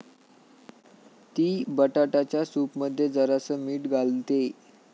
ती बटाटाच्या सूपमध्ये जरासं मीठ घालतेय.